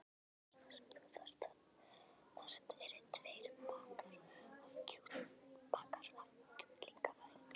Það eina sem þú þarft eru tveir bakkar af kjúklingavængjum.